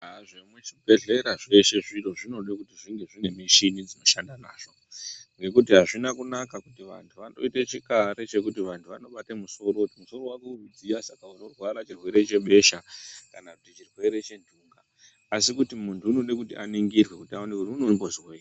Aa zvemuchibhedhlera zveshe zviro zvinode kuti zvinge zvine mishini dzinoshanda nazvo Ngekuti azvina kunaka kuti vantu vandoite chikare chekuti vantu vanobate musoro musoro wako uri kudsiya saka unorwara chirwere chebesha kana kuti chirwere chenhunga asi kuti muntu unode kuti aningirwe utano kuti unode kumbozwini.